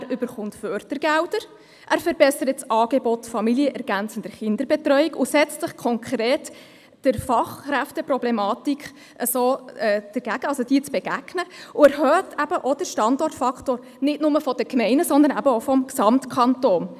Er bekommt Fördergelder, er verbessert das Angebot familienergänzender Kinderbetreuung und setzt sich konkret der Fachkräfteproblematik entgegen, und er erhöht eben auch den Standortfaktor, nicht nur der Gemeinden, sondern auch des Gesamtkantons.